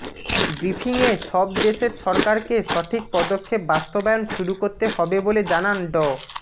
ব্রিফিংয়ে সব দেশের সরকারকে সঠিক পদক্ষেপ বাস্তবায়ন শুরু করতে হবে বলে জানান ড